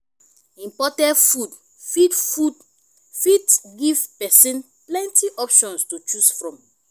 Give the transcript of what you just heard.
imported food fit food fit give person plenty options to choose from